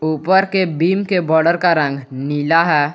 ऊपर के बीम के बोर्डर का रंग नीला है।